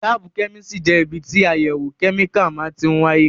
Láábù kẹ́mísìrì jẹ́ ibi tí àyẹ̀wò kẹ́míkà máa tí ń wáyé